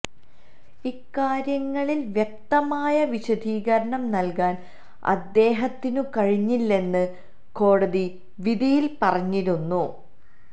ഇക്കാര്യങ്ങളിൽ വ്യക്തമായ വിശദീകരണം നൽകാൻ അദ്ദേഹത്തിനു കഴിഞ്ഞില്ലെന്നും കോടതി വിധിയിൽ പറഞ്ഞിരുന്നു